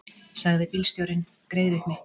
sagði bílstjórinn greiðvikni.